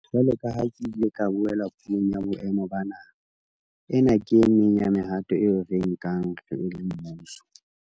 Jwalo ka ha ke ile ka bolela Puong ya Boemo ba Naha, ena ke e meng ya mehato eo re e nkang re le mmuso.